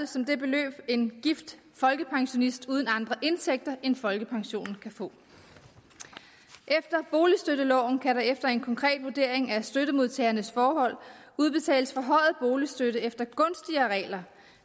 som det beløb en gift folkepensionist uden andre indtægter end folkepensionen kan få efter boligstøtteloven kan der efter en konkret vurdering af støttemodtagernes forhold udbetales forhøjet boligstøtte efter gunstigere regler